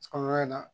Kɔlɔlɔ in na